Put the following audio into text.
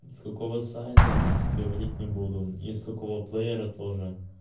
с какого сайта говорить не буду и с какого плеера тоже